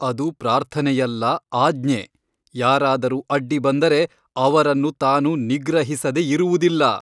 ಅದು ಪ್ರಾರ್ಥನೆಯಲ್ಲ ಆಜ್ಞೆ ಯಾರಾದರೂ ಅಡ್ಡಿಬಂದರೆ ಅವರನ್ನು ತಾನು ನಿಗ್ರಹಿಸದೆ ಇರುವುದಿಲ್ಲ.